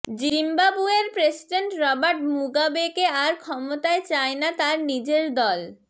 জিম্বাবুয়ের president Robert মুগাবেকে আর ক্ষমতায় চায় না তার নিজের দল